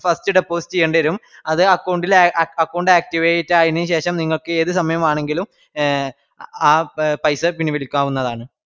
first deposit ചെയ്യണ്ടേരും അത് account ഇൽ അ account activate ആയതിനുശഷം നിങ്ങൾക്ക് ഏത് സമയം വാണങ്കിലും എ ആ പ പൈസ പിൻവലിക്കാവുന്നതാണ്.